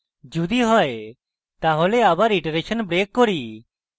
যদি হয় তাহলে আমরা iteration break করি